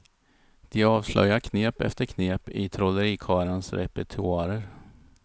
De avslöjar knep efter knep i trollerikarlarnas repertoarer.